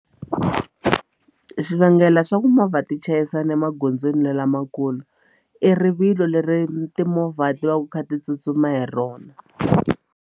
Xivangelo xa ku movha ti chayisana emagondzweni lamakulu i rivilo leri timovha ti va ku ti kha ti tsutsuma hi rona.